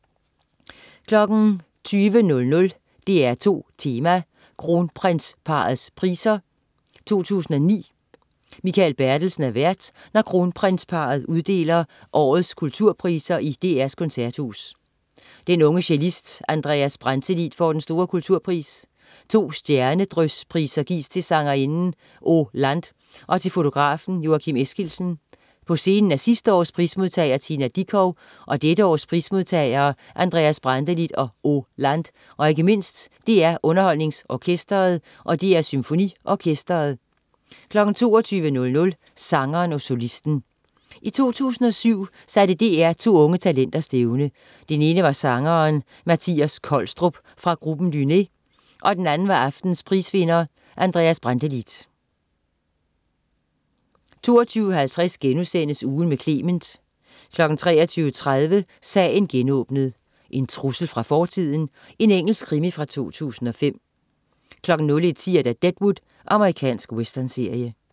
20.00 DR2 Tema: Kronprinsparrets Priser 2009. Mikael Bertelsen er vært, når Kronprinsparret uddeler årets kulturpriser i DR's Koncerthus. Den unge cellist Andreas Brantelid får den store kulturpris. To stjernedryspriser gives til sangerinden Oh Land og til fotografen Joakim Eskildsen. På scenen er sidste års prismodtager Tina Dickow og dette års prismodtagere Andreas Brantelid og Oh Land og ikke mindst DR UnderholdningsOrkestret og DR SymfoniOrkestret 22.00 Sangeren og Solisten. I 2007 satte DR to unge talenter stævne. Den ene var sangeren Mathias Kolstrup fra gruppen Duné og den anden var aftenens prisvinder Andreas Brantelid 22.50 Ugen med Clement* 23.30 Sagen genåbnet: En trussel fra fortiden. Engelsk krimi fra 2005 01.10 Deadwood. Amerikansk westernserie